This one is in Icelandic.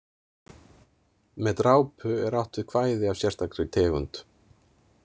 Með drápu er átt við kvæði af sérstakri tegund.